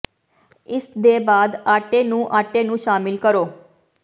ਇਸ ਦੇ ਬਾਅਦ ਆਟੇ ਨੂੰ ਆਟੇ ਨੂੰ ਸ਼ਾਮਿਲ ਕਰੋ